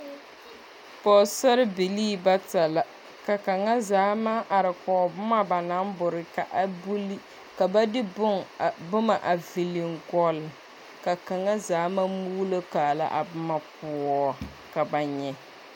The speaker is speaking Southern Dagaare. Pɔɔsarbilii bata, ka kaŋazaa maŋ ar kɔɔ boma ba naŋ bore ka a buli. Ka ba de bon a boma a viliŋgɔlle, ka kaŋazaa maŋ muulokaala a boma poɔ ka ba nyɛ.